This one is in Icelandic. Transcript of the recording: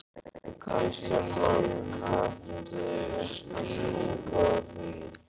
Kristján Már: Kanntu skýringu á því?